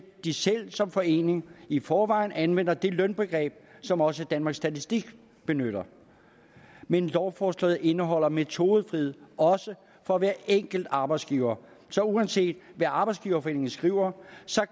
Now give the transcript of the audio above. de selv som forening i forvejen anvender det lønbegreb som også danmarks statistik benytter men lovforslaget indeholder metodefrihed også for hver enkelt arbejdsgiver så uanset hvad arbejdsgiverforeningen skriver